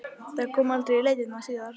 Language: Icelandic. Það kom aldrei í leitirnar síðar.